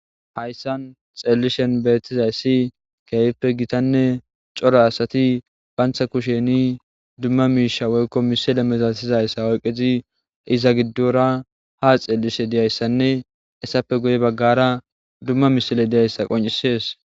hayssan xeelishen beetizayssi keefippe gitanne coro asati bantha kusheni dumma miisha woykko misile mesasizayssa oyqezi iza giddora ha xeelishe diyayssanne essappe guye baggara dumma misile diyayssa qoncisees